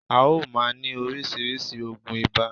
À o máa ní orísìírísìí ògùn ibà